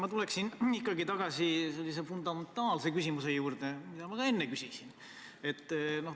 Ma tulen ikkagi tagasi sellise fundamentaalse küsimuse juurde, mida ma ka enne küsisin.